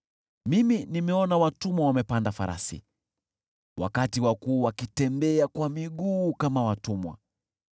Mimi nimeona watumwa wamepanda farasi, wakati wakuu wakitembea kwa miguu kama watumwa.